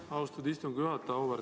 Aitäh, austatud istungi juhataja!